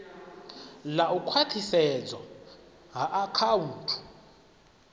ḽa u khwathisedzwa ha akhaunthu